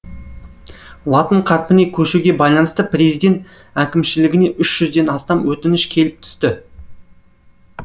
латын қарпіне көшуге байланысты президент әкімшілігіне үш жүзден астам өтініш келіп түсті